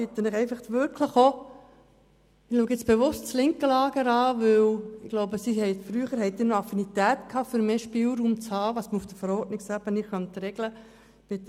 Nun schaue ich bewusst zum linken Lager, denn ich glaube, früher hatten Sie noch eine Affinität für mehr Spielraum bezüglich dessen, was man auf Verordnungsebene regeln kann.